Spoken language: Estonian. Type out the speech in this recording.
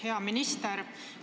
Hea minister!